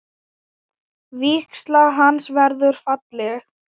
Vígsla hans verður falleg.